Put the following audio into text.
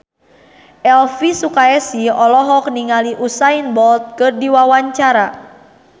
Elvi Sukaesih olohok ningali Usain Bolt keur diwawancara